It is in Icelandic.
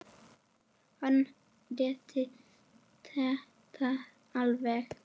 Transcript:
Hann leiddi þetta alveg.